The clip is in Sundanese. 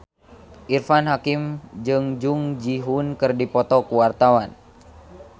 Irfan Hakim jeung Jung Ji Hoon keur dipoto ku wartawan